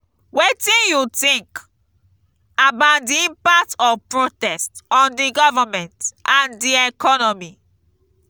wetin you think about di impact of protest on di government and di economy?